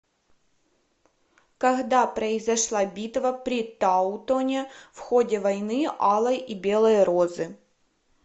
когда произошла битва при таутоне в ходе войны алой и белой розы